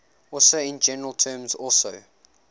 also in general terms also